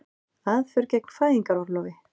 Aðför gegn fæðingarorlofi